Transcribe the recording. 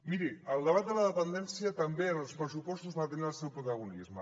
miri el debat de la dependència també en els pressupostos va tenir el seu protagonisme